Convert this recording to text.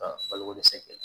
Ka baloko dɛsɛ